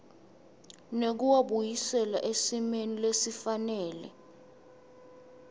nekuwabuyisela esimeni lesifanele